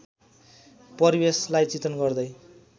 परिवेशलार्इ चित्रण गर्दै